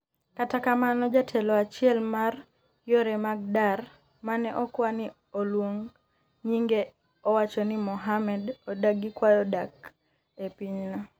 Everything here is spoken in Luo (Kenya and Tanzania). kata kamano jatelo achiel mar yore mag dar mane okwa ni olwong nyinge owacho ni Mohammad odagi kwayo dak e piny no